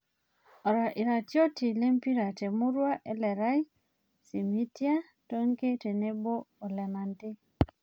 Iratiot lempira temurua Elerai; Simitia, Tonkei tenebo o Lenante